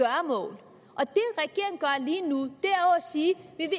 at at sige vi